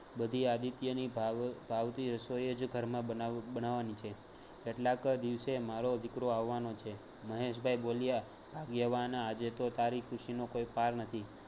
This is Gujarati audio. બધી આદિત્યની ભાવ ભાવતી રસોઈ જ ઘરમાં બનાવ બનાવવાની છે. કેટલાંક દિવસે મારો દિકરો આવવાનો છે. મહેશ ભાઈ બોલ્યા ભાગ્યવાન આજે તો તારી ખુશીનો કોઈ પાર નથી.